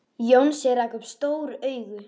Jónsi rak upp stór augu.